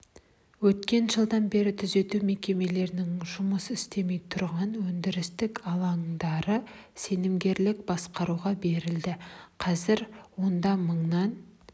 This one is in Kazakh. өткен жылдан бері түзету мекемелерінің жұмыс істемей тұрған өндірістік алаңдары сенімгерлік басқаруға берілді қазір онда мыңнан